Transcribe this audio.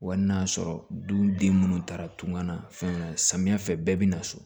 Wa n'a y'a sɔrɔ duden minnu taara tunga na fɛn samiyɛ fɛ bɛɛ bɛ na so